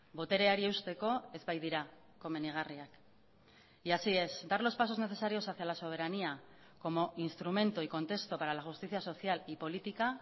botereari eusteko ez baitira komenigarriak y así es dar los pasos necesarios hacia la soberanía como instrumento y contexto para la justicia social y política